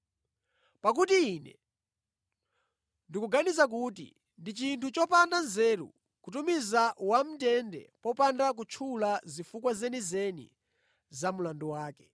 Pakuti ine ndikuganiza kuti ndi chinthu chopanda nzeru kutumiza wamʼndende popanda kutchula zifukwa zenizeni za mlandu wake.”